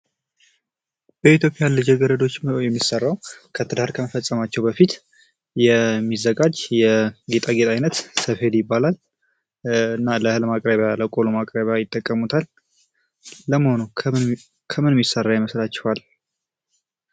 በኢትዮጵያ ልጃገረዶች ነው የሚሠራው ትዳር ከመፈፀማቸው በፊት የሚዘጋጅ ሰፌድ ይባላል እና ለእህል ማቅረቢያ እና ለቆሎ ማቅረቢያ ይጠቀሙታል። ለመሆኑ ከምን የሚሰራ ይመስላቸኋል?